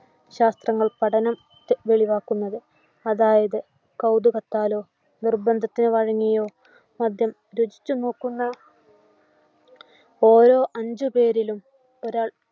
പഠന ത്തെ വെളിവാക്കുന്നത് അതായത് കൗതുകത്താലോ നിർബന്ധത്തിനു വഴങ്ങിയോ മദ്യം രുചിച്ചുനോക്കുന്ന ഓരോ അഞ്ചു പേരിലും ഒരാൾ